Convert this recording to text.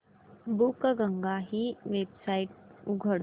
बुकगंगा ही वेबसाइट उघड